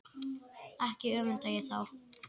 Ekki öfunda ég þá